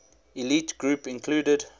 elite group included